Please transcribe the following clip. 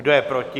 Kdo je proti?